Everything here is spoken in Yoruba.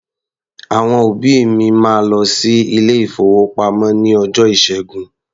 Àwọn òbí mi máa lọ sí ilé-ìfowópamọ́ ní ọjọ́ Ìṣẹ́gun.